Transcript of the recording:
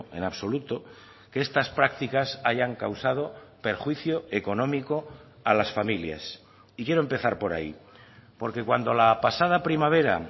en absoluto que estas prácticas hayan causado perjuicio económico a las familias y quiero empezar por ahí porque cuando la pasada primavera